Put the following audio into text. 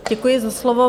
Děkuji za slovo.